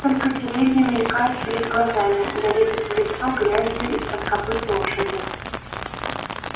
только деревья мелькают перед глазами да лепит в лицо грязью из-под копыт лошади